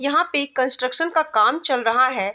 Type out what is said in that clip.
यहाँ पे कंस्ट्रक्शन का काम चल रहा है।